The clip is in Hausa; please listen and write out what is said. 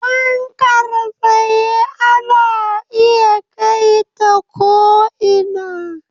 Fankar tsaye ana iya kai ta ko'ina